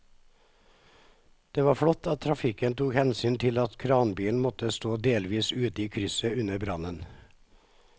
Det var flott at trafikken tok hensyn til at kranbilen måtte stå delvis ute i krysset under brannen.